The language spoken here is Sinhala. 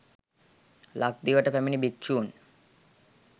ලක්දිවට පැමිණි භික්‍ෂූන්